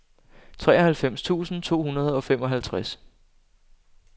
treoghalvfems tusind to hundrede og femoghalvtreds